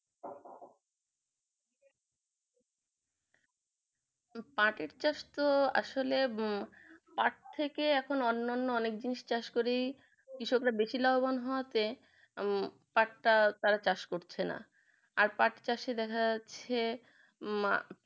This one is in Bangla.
পাঠের চাষ তো আসলে পাঠ থেকে এখন অন্যান অনেক জিনিস চাষ করে কৃষকরা বেশি লাভবান হওয়াতে উম পাঠ টা তারা চাষ করছে না আর পাঠ চাষে দেখা যাচ্ছে মা